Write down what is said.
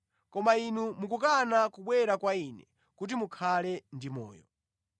Koma inu mukukana kubwera kwa Ine kuti mukhale ndi moyo.